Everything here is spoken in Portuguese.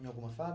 Em alguma